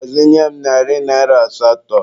Gbazinye m narị naịra asatọ.